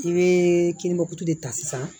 I bɛ kininba kutu de ta sisan